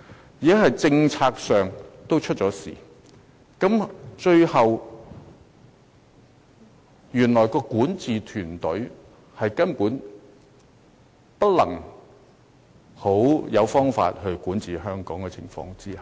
由此可見，現時是政策上出了問題，原來特區的管治團隊根本沒有好方法管治香港，所以